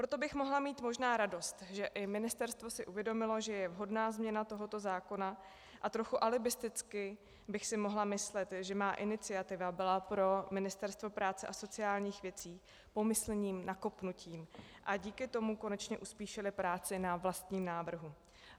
Proto bych mohla mít možná radost, že i ministerstvo si uvědomilo, že je vhodná změna tohoto zákona, a trochu alibisticky bych si mohla myslet, že má iniciativa byla pro Ministerstvo práce a sociálních věcí pomyslným nakopnutím a díky tomu konečně uspíšili práci na vlastním návrhu.